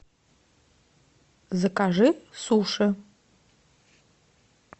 закажи суши